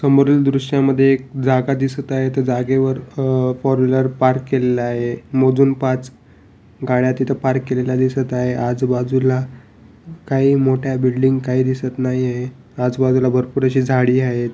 आणि जमिनीवर जे फ्लोर जे आहे ते टाईल्स ने अ वा पांढरे कलर चे टाईल्स वापरलेले आहे त्यांचे मध्ये वेग वेगळं नक्षीकाम केलेलं आहेत.